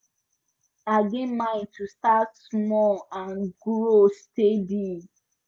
i get mind to start small and grow steady